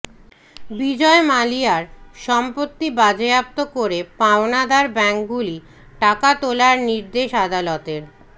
বিজয় মালিয়ার সম্পত্তি বাজেয়াপ্ত করে পাওনাদার ব্যাঙ্কগুলি টাকা তোলার নির্দেশ আদালতের